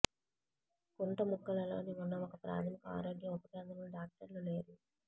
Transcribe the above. కుంటముక్కలలో ఉన్న ఒక ప్రాథమిక ఆరోగ్య ఉప కేంద్రంలో డాక్టర్లు లేరు